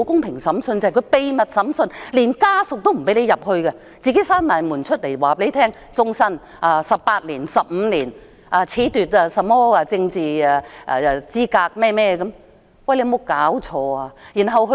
便是秘密審訊，連家屬也不准進入法院，閉門審訊，然後宣布終身監禁、囚18年、15年、褫奪政治資格等，有沒有搞錯？